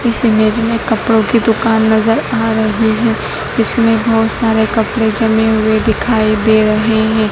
इस इमेज़ में कपड़ों की दुकान नजर आ रहा है इसमें बहोत सारे कपड़े जमे हुए दिखाई दे रहे हैं।